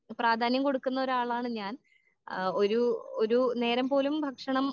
പ്രാധാന്യം കൊടുക്കുന്ന ഒരാളാണ് ഞാൻ ആ ഒരു ഒരു നേരം പോലും ഭക്ഷണം